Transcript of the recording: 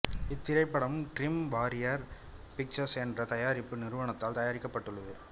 இத்திரைப்படம் dream warrior pictures என்ற தயாரிப்பு நிறுவனத்தால் தயாரிக்கப்பட்டுள்ளது